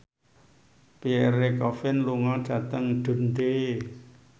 Pierre Coffin lunga dhateng Dundee